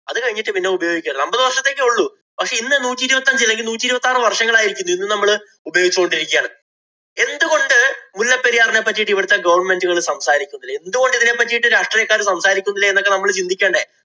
അതുകഴിഞ്ഞിട്ട് പിന്നെ ഉപയോഗിക്കരുത്. അമ്പതു വര്‍ഷത്തേക്കെ ഉള്ളൂ. പക്ഷേ ഇന്ന് നൂറ്റി ഇരുപത്തിയഞ്ച് നൂറ്റിഇരുപത്താറു വര്‍ഷങ്ങള്‍ ആയിരിക്കുന്നു. ഇന്ന് നമ്മള് ഉപയോഗിച്ചു കൊണ്ടിരിക്കുകയാണ്. എന്തു കൊണ്ട് മുല്ലപ്പെരിയാറിനെ പറ്റീട്ട് ഇവിടത്തെ government ഉകള്‍ സംസാരിക്കുന്നില്ല. എന്തുകൊണ്ട് ഇതിനെ പറ്റീട്ട് രാഷ്ട്രീയക്കാര് സംസാരിക്കുന്നില്ല എന്നൊക്കെ നമ്മള് ചിന്തിക്കണ്ടേ.